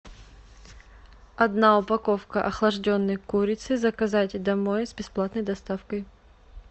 одна упаковка охлажденной курицы заказать домой с бесплатной доставкой